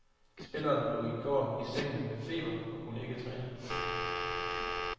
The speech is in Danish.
Spilleren lå i går i sengen med feber og kunne ikke træne.